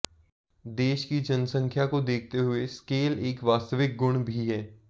देश की जनसख्यां को देखते हुए स्केल एक वास्तविक गुण भी है